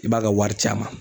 I b'a ka wari ci a ma.